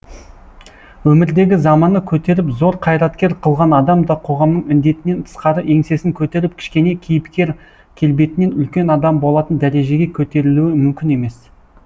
өмірдегі заманы көтеріп зор қайраткер қылған адам да қоғамның індетінен тысқары еңсесін көтеріп кішкене кейіпкер келбетінен үлкен адам болатын дәрежеге көтерілуі мүмкін емес